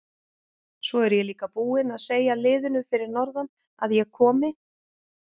Svo er ég líka búinn að segja liðinu fyrir norðan að ég komi.